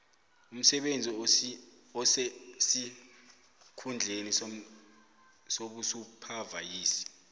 umsebenzi osesikhundleni sobusuphavayiza